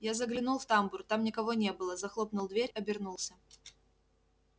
я заглянул в тамбур там никого не было захлопнул дверь обернулся